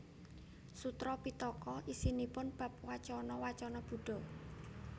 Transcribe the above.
Sutra Pittaka isinipun bab wacana wacana Buddha